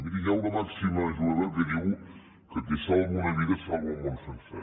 mirin hi ha una màxima jueva que diu que qui salva una vida salva el món sencer